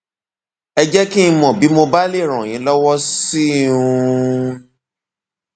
ẹ jẹ kí n mọ bí mo bá lè ràn yín lọwọ síwájú sí um i